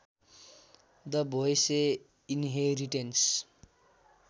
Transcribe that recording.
the भोएसे inheritance